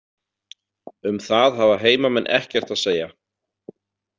Um það hafa heimamenn ekkert að segja.